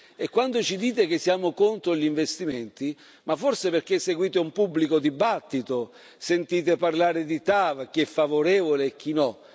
E quando ci dite che siamo contro gli investimenti, forse perché seguite il pubblico dibattito e sentite parlare di TAV, di chi è favorevole e chi